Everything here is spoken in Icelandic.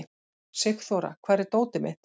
Sigþóra, hvar er dótið mitt?